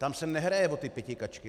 Tam se nehraje o ty pětikačky.